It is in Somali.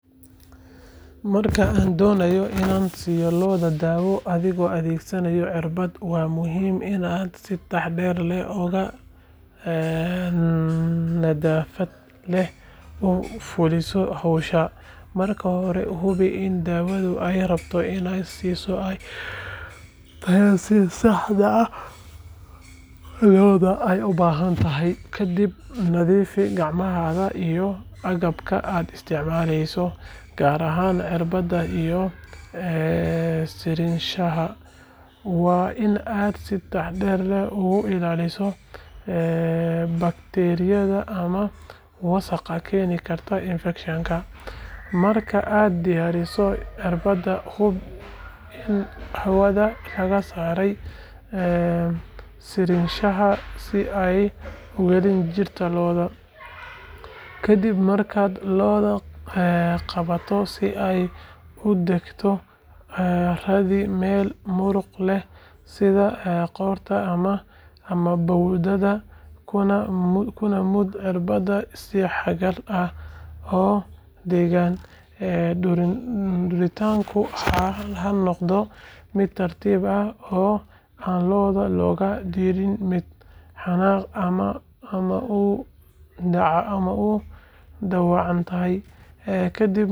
Marka aad dooneyso inaad siiso lo’da daawo adigoo adeegsanaya irbado, waa muhiim inaad si taxaddar leh oo nadaafad leh u fuliso howsha. Marka hore, hubi in daawada aad rabto inaad siiso ay tahay tii saxda ahayd lo’dana ay u baahan tahay. Ka dib, nadiifi gacmahaaga iyo agabka aad isticmaaleyso, gaar ahaan irbadda iyo sirinshaha. Waa in aad si taxaddar leh uga ilaalisaa bakteeriyada ama wasakhda keeni karta infekshan. Marka aad diyaariso irbadda, hubi in hawada laga saaray sirinshaha si aanay u gelin jirka lo’da. Ka dib markaad lo’da qabato si ay u degto, raadi meel muruqa leh sida qoorta ama bowdada, kuna mud irbadda si xagal ah oo degan. Duritaanka ha noqdo mid tartiib ah si aan lo’da looga dhigin mid xanaaqda ama u dhaawacanta. Kadib markaad irbadda bixiso.